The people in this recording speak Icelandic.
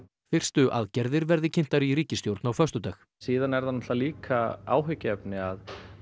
fyrstu aðgerðir verði kynntar í ríkisstjórn á föstudag síðan er líka áhyggjuefni að